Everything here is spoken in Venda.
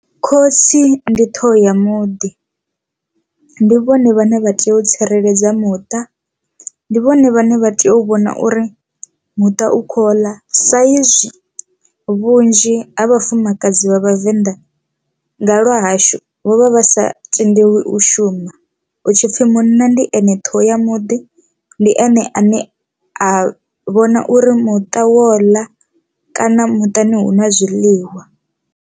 Khotsi ndi ṱhoho ya muḓi ndi vhone vhane vha tea u tsireledza muṱa ndi vhone vhane vha tea u vhona uri muṱa u kho ḽa sa izwi vhunzhi ha vhafumakadzi vha vhavenḓa nga lwa hashu vho vha vha sa tendelwi u shuma, hu tshi pfhi munna ndi ene ṱhoho ya muḓi ndi ene ane a vhona uri muṱa wo ḽa kana muṱani hu na zwiḽiwa.